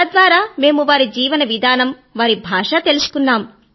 తద్వారా మేము వారి జీవన విధానము వారి భాష తెలుసుకున్నాము